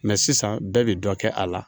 sisan bɛɛ bi dɔ kɛ a la